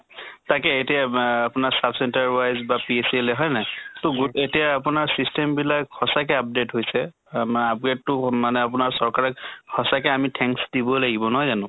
তাকে এতিয়া মা আপোনাৰ sub center wise বা PHC আহিলে হয় নে নহয়? তʼ গো এতিয়া আপোনাৰ system বিলাক সঁচাকে update হৈছে। আমাৰ upgrade টো মানে আপোনাৰ চৰকাৰে সঁচাকে আমি thanks দিব লাগিব নহয় জানো?